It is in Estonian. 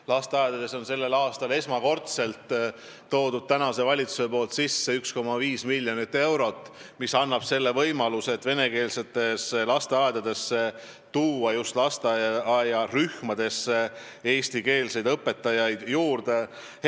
Lasteaedadele on praegune valitsus sellel aastal esmakordselt eraldanud 1,5 miljonit eurot, mis annab venekeelsetes lasteaedades võimaluse just lasteaiarühmadesse rohkem eestikeelseid õpetajaid tööle võtta.